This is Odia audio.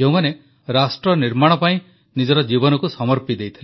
ଯେଉଁମାନେ ରାଷ୍ଟ୍ରନିର୍ମାଣ ପାଇଁ ନିଜର ଜୀବନକୁ ସମର୍ପି ଦେଇଥିଲେ